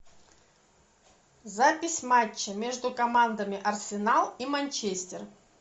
запись матча между командами арсенал и манчестер